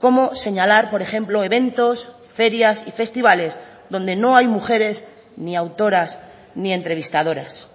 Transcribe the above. como señalar por ejemplo eventos ferias y festivales donde no hay mujeres ni autoras ni entrevistadoras